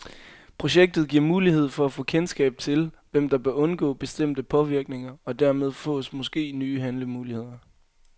Projektet giver mulighed for at få kendskab til, hvem der bør undgå bestemte påvirkninger, og dermed fås måske nye handlemuligheder.